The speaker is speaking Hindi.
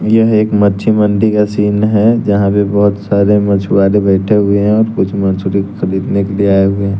यह एक मच्छी मंडी का सीन है जहां पे बहुत सारे मछुआरे बैठे हुए हैं और कुछ मछुआरे खरीदने के लिए आए हुए हैं।